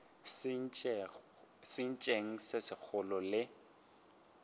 sentšeng se segolo ge le